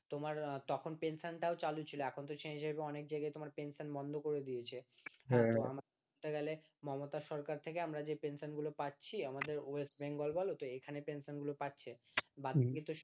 তোমার তখনপেনশনটাও চালু ছিল এখন তো সেই হিসাবে অনেক জায়গাতে পেনশনটা বন্ধ করে দিয়েছে মমতা সরকার থেকে আমরা যে পেনশন গুলো পাচ্ছি আমাদের ওয়েস্ট বেঙ্গল বলো এখানে পেনশন গুলো পাচ্ছে